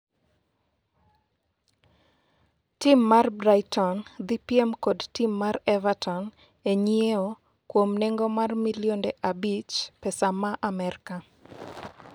Tim mar Brighton dhi piem kod tim mar Everton e nyiewo kuom nengo mar milionde abich pesa ma Amerka